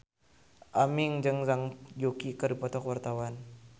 Aming jeung Zhang Yuqi keur dipoto ku wartawan